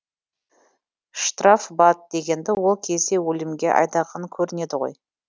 штрафбат дегенді ол кезде өлімге айдаған көрінеді ғой